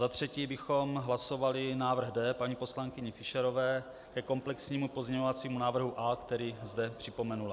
Za třetí bychom hlasovali návrh D paní poslankyně Fischerové ke komplexnímu pozměňovacímu návrhu A, který zde připomenula.